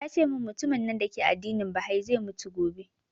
Tace mun mutumin nan dake addinin bahai zai mutu gobe